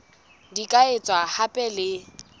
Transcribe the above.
di ka etswa hape le